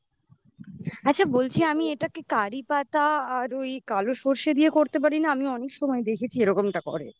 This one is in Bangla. আচ্ছা বলছি আমি এটাকে কারি পাতা আর ওই কালো সরষে দিয়ে করতে পারি না আমি অনেক সময় দেখেছি এরকমটা করে